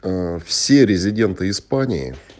ээ все резиденты испании